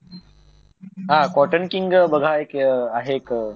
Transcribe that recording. हा Cotton King बघा एकआहे एक ब्रँड